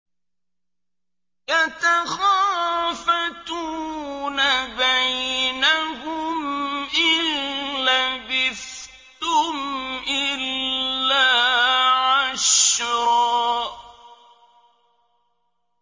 يَتَخَافَتُونَ بَيْنَهُمْ إِن لَّبِثْتُمْ إِلَّا عَشْرًا